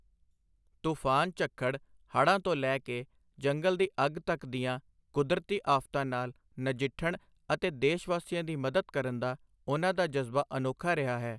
ਤੂਫ਼ਾਨ ਝੱਖੜ, ਹੜ੍ਹਾਂ ਤੋਂ ਲੈ ਕੇ ਜੰਗਲ ਦੀ ਅੱਗ ਤੱਕ ਦੀਆਂ ਕੁਦਰਤੀ ਆਫ਼ਤਾਂ ਨਾਲ ਨਜਿੱਠਣ ਅਤੇ ਦੇਸ਼ ਵਾਸੀਆਂ ਦੀ ਮਦਦ ਕਰਨ ਦਾ ਉਨ੍ਹਾਂ ਦਾ ਜਜ਼ਬਾ ਅਨੋਖਾ ਰਿਹਾ ਹੈ।